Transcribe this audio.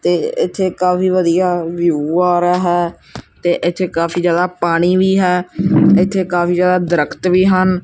ਤੇ ਇੱਥੇ ਕਾਫੀ ਵਧੀਆ ਵਿਊ ਆ ਰਿਹਾ ਹੈ ਤੇ ਇੱਥੇ ਕਾਫੀ ਜਗਾ ਪਾਣੀ ਵੀ ਹੈ ਇੱਥੇ ਕਾਫੀ ਜਿਆਦਾ ਦਰਖਤ ਵੀ ਹਨ।